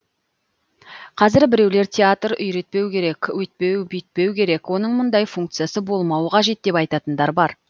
қазір біреулер театр үйретпеу керек өйтпеу бүйтпеу керек оның мұндай функциясы болмауы қажет деп айтатындар бар